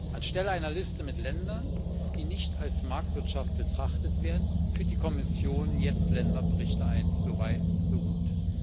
Anstelle einer Liste mit Ländern, die nicht als Marktwirtschaft betrachtet werden, führt die EU Kommission jetzt Länderberichte ein so weit, so gut.